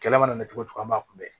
Kɛlɛ mana mɛn cogo o cogo an b'a kunbɛ